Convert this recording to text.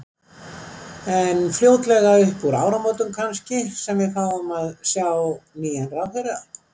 En fljótlega upp úr áramótum kannski sem að við fáum að sjá nýjan ráðherra?